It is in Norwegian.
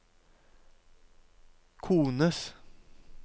kones